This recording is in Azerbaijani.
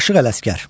Aşıq Ələsgər.